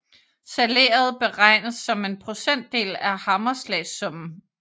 Salæret beregnes som en procentdel af hammerslagssummen